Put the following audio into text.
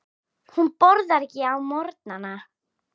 Hún borðar ekki á morgnana.